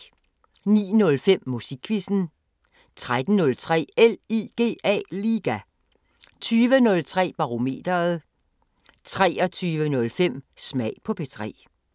09:05: Musikquizzen 13:03: LIGA 20:03: Barometeret 23:05: Smag på P3